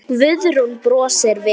Guðrún brosir við.